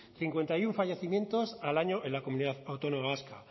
cincuenta y uno fallecimientos al año en la comunidad autónoma vasca